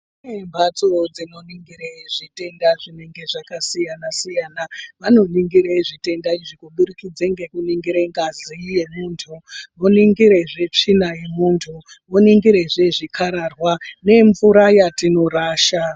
Mbatso dzinoningire zvitenda zvinenge zvakasiyana -siyana vanoningire zvitenda izvi kuburikidza ngekuningire ngazi yemuntu, voningirazve tsvina yemuntu , voningirazve zvikarararwa nemvura yatinorasha.